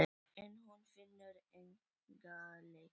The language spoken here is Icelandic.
En hún finnur enga lykt.